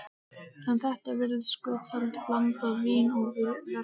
En þetta virðist skotheld blanda: vín og verslun.